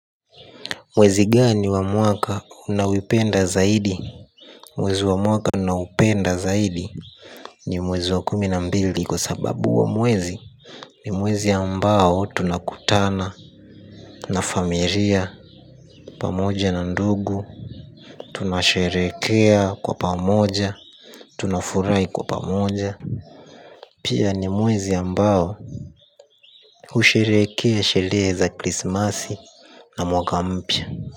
Mwezi gani wa mwaka unaupenda zaidi. Mwezi wa mwaka ninaoupenda zaidi ni mwezi wa kumi na mbili kwa sababu huo wa mwezi. Ni mwezi ambao tunakutana. Na familia pamoja na ndugu tunasherehekea kwa pamoja. Tunafurahi kwa pamoja. Pia ni mwezi ambao husherehekea sherehe za krismasi na mwaka mpya.